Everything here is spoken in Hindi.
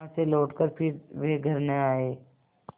वहाँ से लौटकर फिर वे घर न आये